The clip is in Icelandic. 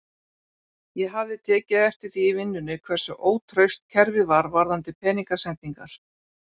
Ég hafði tekið eftir því í vinnunni hversu ótraust kerfið var varðandi peningasendingar.